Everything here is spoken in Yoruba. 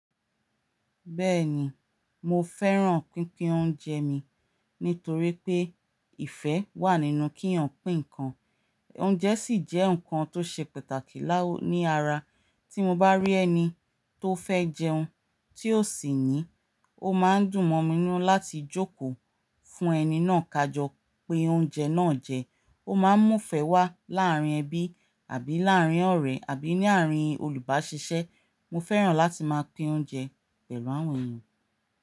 Bẹ́ẹ̀ni, mo fẹ́ràn pínpín oúnjẹ mi, nítorí pé ìfẹ́ wà nínú kí èèyàn pín ǹkan. Oúnjẹ sì jẹ́ ǹkan tó ṣe pàtàkì láwọn ní ara. Tí mo bá rí ẹni tó fẹ́ jẹun tí ó sì ní, ó máa ń dùn mọ́ mi nínú láti jókòó fún ẹni náà kajọ pé oúnjẹ náà jẹ. Ó máa ń mú ìfẹ́ wá láàárín ẹbí.àbí láàárín ọ̀rẹ́ àbí ní àárín olùbáṣiṣẹ́. Mo fẹ́ràn láti máa pín oúnjẹ pẹ̀lú àwọn èèyàn.